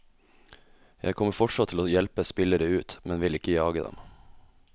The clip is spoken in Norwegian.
Jeg kommer fortsatt til å hjelpe spillere ut, men vil ikke jage dem.